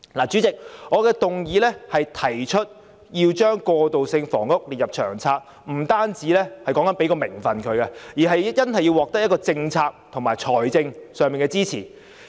主席，我的議案提出把過渡性房屋列入《長策》，說的不單是給予名份，而是真正要獲得政策及財政上的支持。